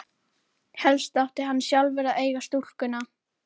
Þórinn, hvernig verður veðrið á morgun?